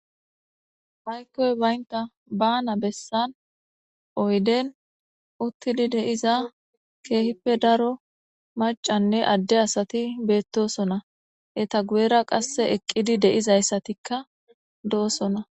Haykkoy baynta baana bessan oyden uttidi deiza keehippe daro macanne adde asati beettosona eta guyera qasse eqqidi deizayssatikka do'osona.